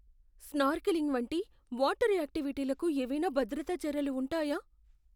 Snorkelling వంటి water యాక్టివిటీలకు ఏవైనా భద్రతా చర్యలు ఉంటాయా?